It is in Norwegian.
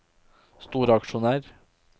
storaksjonær